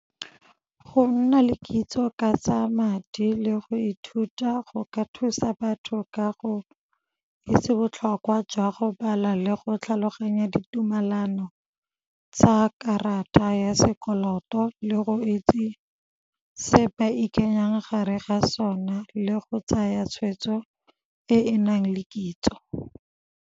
Go nna le kitso ka tsa madi le go ithuta go ka thusa batho ka go itse botlhokwa jwa go bala le go tlhaloganya ditumelano tsa karata ya sekoloto, le go itse se ba ikanyang gare ga sona le go tsaya tshweetso e e nang le kitso.